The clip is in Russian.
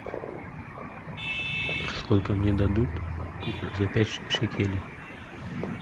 сколько мне дадут за пять шекелей